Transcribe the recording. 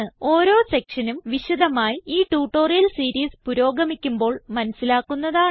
ഓരോ സെക്ഷനും വിശധമായി ഈ ട്യൂട്ടോറിയൽ സീരീസ് പുരോഗമിക്കുമ്പോൾ മനസിലാക്കുന്നതാണ്